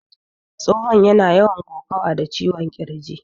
Tsohon yana yawan kokawa da ciwon ƙirji